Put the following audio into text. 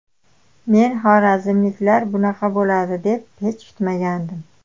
Men xorazmliklar bunaqa bo‘ladi, deb hech kutmagandim.